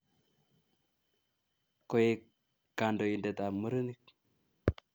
Koek kandoindetab murenik